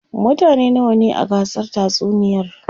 mutane nawa ne a gasar tatsuniyar?